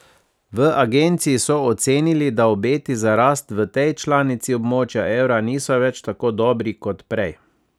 V agenciji so ocenili, da obeti za rast v tej članici območja evra niso več tako dobri kot prej.